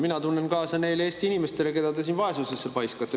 Mina tunnen kaasa nendele Eesti inimestele, keda te siin vaesusesse paiskate.